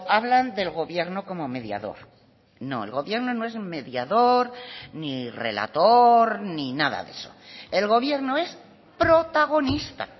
hablan del gobierno como mediador no el gobierno no es mediador ni relator ni nada de eso el gobierno es protagonista